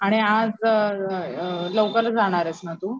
आणि आज अअअ लवकर जाणारेस ना तू?